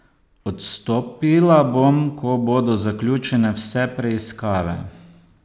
Odstopila bom, ko bodo zaključene vse preiskave.